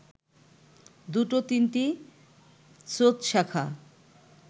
দুটো-তিনটে স্রোতশাখা